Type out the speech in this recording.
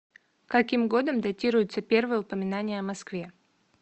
каким годом датируется первое упоминание о москве